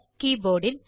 keyboard will